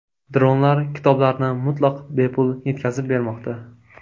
Dronlar kitoblarni mutlaq bepul yetkazib bermoqda.